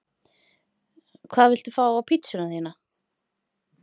Hvað viltu fá á pizzuna þína?